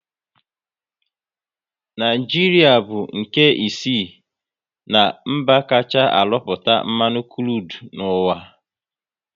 Naijiria bu nke isii na mba kachaa arụpụta mmanụ krudu n'uwa